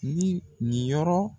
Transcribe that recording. Ni nin yɔrɔ